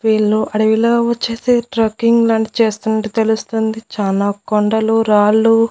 వీళ్ళు అడవిలో వచ్చేసి ట్రక్కింగ్ లాంటిది చేస్తున్నట్టు తెలుస్తుంది చాలా కొండలు రాళ్ళు--